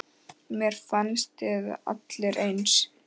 Mér finnst þið allir eins.